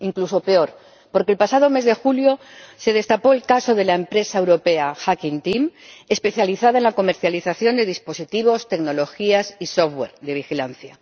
Incluso peor, porque el pasado mes de julio se destapó el caso de la empresa europea Hacking Team, especializada en la comercialización de dispositivos, tecnologías y software de vigilancia.